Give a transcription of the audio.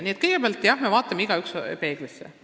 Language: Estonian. Nii et kõigepealt vaatame kõik ise peeglisse.